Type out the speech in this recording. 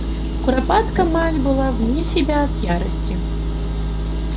куропатка мать была вне себя от ярости